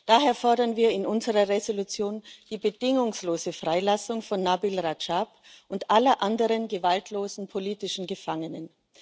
Daher fordern wir in unserer Entschließung die bedingungslose Freilassung von Nabil Radschab und aller anderen gewaltlosen politischen Gefangenen.